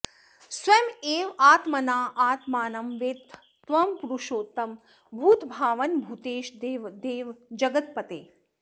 स्वयम् एव आत्मना आत्मानं वेत्थ त्वं पुरुषोत्तम भूतभावन भूतेश देवदेव जगत्पते